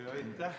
Aitäh!